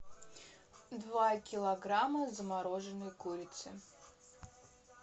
два килограмма замороженной курицы